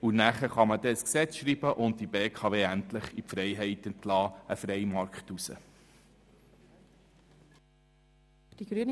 Dann kann man ein Gesetz schreiben und die BKW endlich in den freien Markt entlassen.